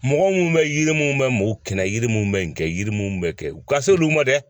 Mɔgɔ minnu bɛ yiri mun bɛ mɔ kɛnɛ yiri mun bɛ yen yiri munnu bɛ kɛ u ka se olu ma dɛ